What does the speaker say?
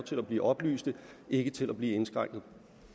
til at blive oplyst ikke til at blive indskrænket